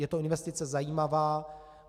Je to investice zajímavá.